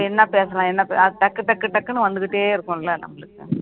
இப்ப என்ன பேசலாம் என்ன பே~ டக்கு டக்கு டக்குன்னு வந்துக்கிட்டே இருக்கும்ல நம்மளுக்கு